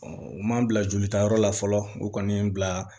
u m'an bila jolitayɔrɔ la fɔlɔ u kɔni ye n bila